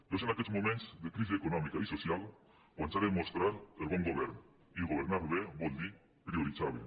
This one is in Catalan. però és en aquests moments de crisi econòmica i so·cial quan s’ha de mostrar el bon govern i governar bé vol dir prioritzar bé